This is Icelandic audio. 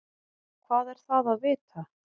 Hvað er það að vita?